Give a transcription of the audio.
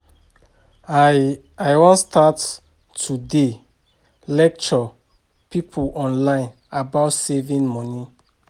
I I wan start to dey lecture people online about saving money